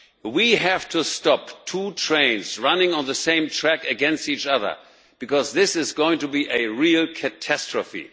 We have to stop two trains running on the same track against each other, because this is going to be a real catastrophe.